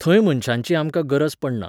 थंय मनशांची आमकां गरज पडना.